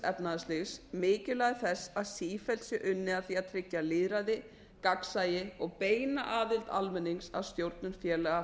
efnahagslífs mikilvægi þess að sífellt sé unnið að því að tryggja lýðræði gagnsæi og beina aðild almennings að stjórnun félaga